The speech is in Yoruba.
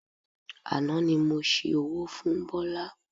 Àná ni mo ṣi owó fún Bọ́lá